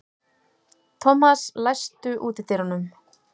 Thomas, læstu útidyrunum.